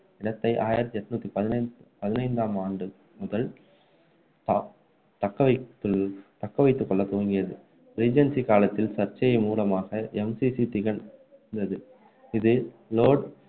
இடத்தை ஆயிரத்து எண்ணூற்று பதினைந்தாம் பதினைந்தாம் ஆண்டு முதல் அஹ் தக்க வைத்து தக்க வைத்துக்கொள்ள துவங்கியது ரீஜென்சி காலத்தில் சர்ச்சைகள் மூலமாக MCC திகழ்ந்தது இது லோட்